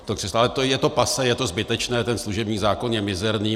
Ale je to passé, je to zbytečné, ten služební zákon je mizerný.